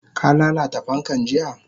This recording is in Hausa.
Ka lalata fankan jiya?